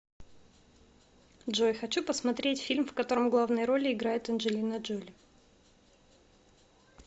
джой хочу посмотреть фильм в котором главные роли играет анжелина джоли